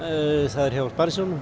það er hjá Sparisjóðnum